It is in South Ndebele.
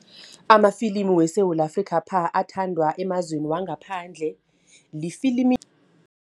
Amafilimi weSewula Afrika athandwa emazweni wangaphandle lifilimi.